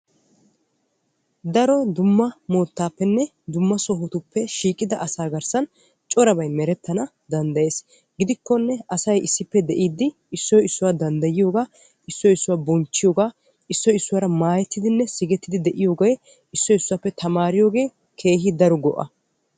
daro dumma moottappenne dumma sohotuppe shiiqqida asaa garssan corabay merettana danddayyes. gidikkonne asay issippe de'iddi issoy issuwaa danddayiyooga issoy issuwaa bonchchiyooga issoy issuwaara maayyetidinne sigettidi de'iyooge issoy issuwappe tamaariyooge keehi daro go''a.